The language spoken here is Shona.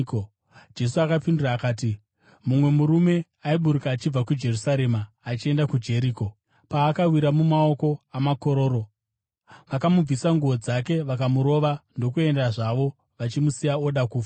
Jesu akapindura akati, “Mumwe murume aiburuka achibva kuJerusarema achienda kuJeriko, paakawira mumaoko amakororo. Vakamubvisa nguo dzake, vakamurova ndokuenda zvavo, vachimusiya oda kufa.